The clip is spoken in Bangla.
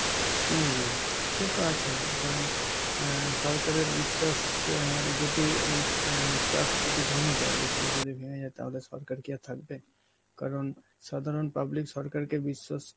হম সে তো আছেই কারণ অ্যাঁ সরকারের বিশ্বাস অ্যাঁ যদি এন্ অ্যাঁ trust যদি ভেঙে যায়, বিশ্বাস যদি ভেঙে যায় তাহলে সরকার কি আর থাকবে? কারণ সাধারণ public সরকারকে বিশ্বাস